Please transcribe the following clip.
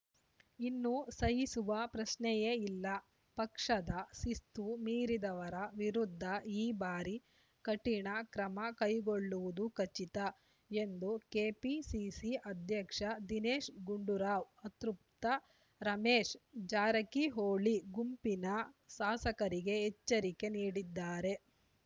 ಇನ್ನು ಸಹಿಸುವ ಪ್ರಶ್ನೆಯೇ ಇಲ್ಲ ಪಕ್ಷದ ಶಿಸ್ತು ಮೀರಿದವರ ವಿರುದ್ಧ ಈ ಬಾರಿ ಕಠಿಣ ಕ್ರಮ ಕೈಗೊಳ್ಳುವುದು ಖಚಿತ ಎಂದು ಕೆಪಿಸಿಸಿ ಅಧ್ಯಕ್ಷ ದಿನೇಶ್‌ ಗುಂಡೂರಾವ್‌ ಅತೃಪ್ತ ರಮೇಶ್‌ ಜಾರಕಿಹೊಳಿ ಗುಂಪಿನ ಶಾಸಕರಿಗೆ ಎಚ್ಚರಿಕೆ ನೀಡಿದ್ದಾರೆ